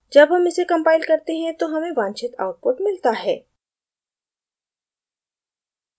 जब हम इसे compile करते हैं तो हमें वांछित output मिलता है